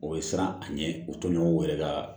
O bɛ siran a ɲɛ o toɲɔgɔn yɛrɛ ka